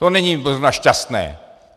To není zrovna šťastné.